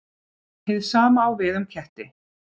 Hið sama á við um ketti.